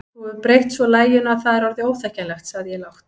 Þú hefur breytt svo laginu að það er orðið óþekkjanlegt sagði ég lágt.